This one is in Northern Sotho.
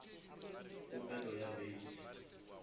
kgopelo ya bail